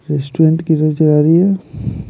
Restaurant किधर चला रही है।